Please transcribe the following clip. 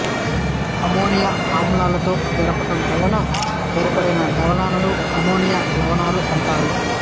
ammonia ఆమ్లాలతో జరపడం వలన ఏర్పడిన లవణాలను అమ్మోనియం లవణాలు అంటారు